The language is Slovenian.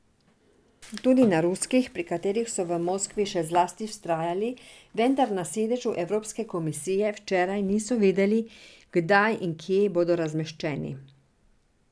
Tudi na ruskih, pri katerih so v Moskvi še zlasti vztrajali, vendar na sedežu evropske komisije včeraj niso vedeli, kdaj in kje bodo razmeščeni.